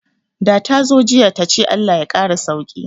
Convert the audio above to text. Da tazo jiya tace Allah ya kara sauki